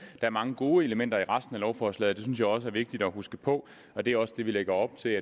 er mange gode elementer i resten af lovforslaget det synes jeg også er vigtigt at huske på og det er også det vi lægger op til